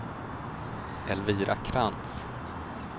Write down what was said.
Elvira Krantz